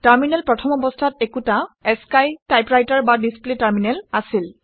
terminal প্ৰথম অৱস্থাত একোটা আশ্চিই টাইপৰাইটাৰ বা ডিচপ্লে টাৰমিনেল আছিল